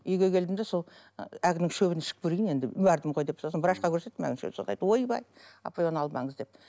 үйге келдім де сол әлгінің шөбін ішіп көрейін енді бардым ғой деп сосын врачқа көрсеттім әлгі ойбай апай оны алмаңыз деп